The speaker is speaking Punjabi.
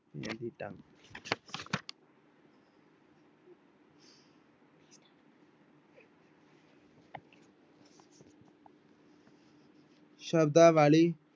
ਸ਼ਬਦਾਵਲੀ